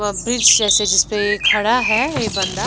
अ bridge जैसे जिसपे खड़ा है यह बंदा--